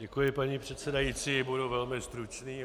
Děkuji, paní předsedající, budu velmi stručný.